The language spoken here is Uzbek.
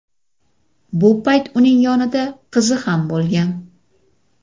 Bu payt uning yonida qizi ham bo‘lgan.